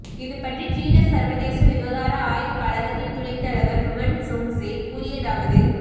இது பற்றி சீன சர்வதேச விவகார ஆய்வுக் கழகத்தின் துணைத் தலைவர் ருவன் சுங்சே கூறியதாவது